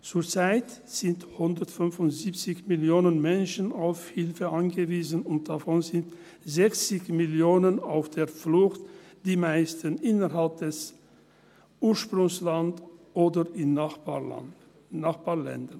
Zurzeit sind 175 Millionen Menschen auf Hilfe angewiesen, und davon sind 60 Millionen auf der Flucht, die meisten innerhalb des Ursprungslands oder in Nachbarländern.